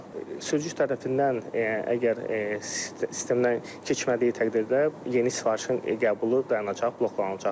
Sürücü tərəfindən əgər sistemdən keçmədiyi təqdirdə yeni sifarişin qəbulu dayanacaq, bloklanılacaq.